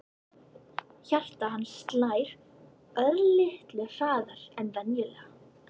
Hjarta hans slær örlitlu hraðar en venjulega.